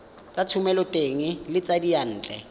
tsa thomeloteng le tsa diyantle